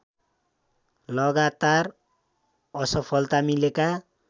लगातार असफलता मिलेका